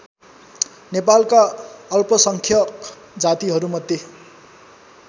नेपालका अल्पसङ्ख्यक जातिहरूमध्ये